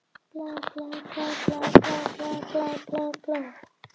Birkir tók farsímann sinn úr vasanum, slökkti á honum og sýndi Jóhanni.